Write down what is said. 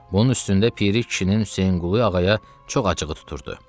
Bunun üstündə Piri kişinin Hüseynqulu ağaya çox acığı tuturdu.